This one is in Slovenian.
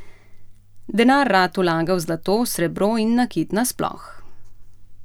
Denar rad vlaga v zlato, srebro in nakit na sploh.